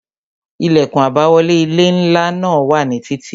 Ilẹkun àbáwọlé ilé ńlá náà wà ní títí